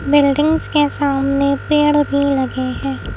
Buildings के सामने पेड़ भी लगे है।